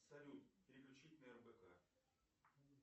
салют переключить на рбк